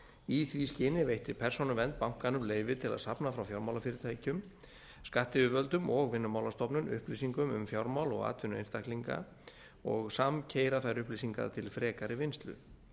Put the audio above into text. í því skyni veitti persónuvernd bankanum leyfi til að safna frá fjármálafyrirtækjum skattyfirvöldum og vinnumálastofnun upplýsingum um fjármál og atvinnu einstaklinga og samkeyra þær upplýsingar til frekari vinnslu